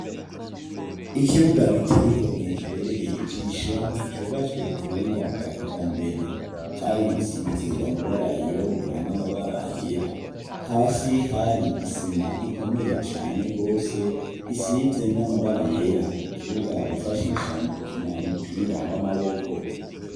Ikibuga gitey igomwe kibereye ijisho cubatswe kubuhinga bwa kija mbere cari igisize amabara yirabura n'amabara yera hasi hari isima ikomeye cane rwose isize n'amabara yera kibuga bifashisha mu gukina mupira w'amaboko.